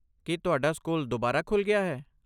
ਕੀ ਤੁਹਾਡਾ ਸਕੂਲ ਦੁਬਾਰਾ ਖੁੱਲ੍ਹ ਗਿਆ ਹੈ?